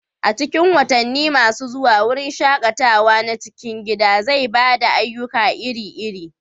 A cikin watanni masu zuwa, wurin shaƙatawa na cikin gida zai ba da ayyuka iri-iri